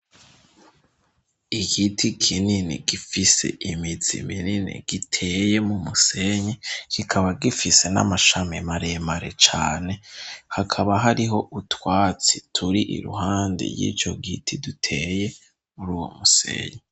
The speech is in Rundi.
Igiti kinini gifise imizi minini giteye m'umusenyi kikaba gifise n'amashami maremare cane hakaba hariho utwatsi turi iruhande yicogiti duteye muruwomusenyi.